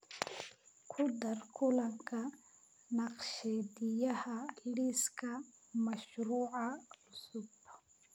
ku dar kulanka naqshadeeyaha liiska mashruuca cusub